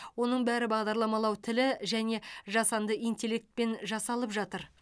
оның бәрі бағдарламалау тілі және жасанды интеллектпен жасалып жатыр